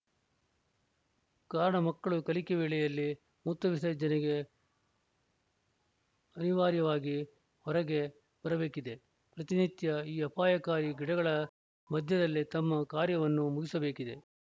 ಕಾರಣ ಮಕ್ಕಳು ಕಲಿಕೆ ವೇಳೆಯಲ್ಲಿ ಮೂತ್ರ ವಿಸರ್ಜನೆಗೆ ಅನಿವಾರ್ಯವಾಗಿ ಹೊರಗೆ ಬರಬೇಕಿದೆ ಪ್ರತಿನಿತ್ಯ ಈ ಅಪಾಯಕಾರಿ ಗಿಡಗಳ ಮಧ್ಯದಲ್ಲೇ ತಮ್ಮ ಕಾರ್ಯವನ್ನು ಮುಗಿಸಬೇಕಿದೆ